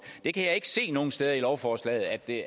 jeg kan ikke se nogen steder i lovforslaget at det